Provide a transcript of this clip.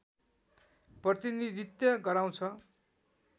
प्रतिनीधित्व गराउँछ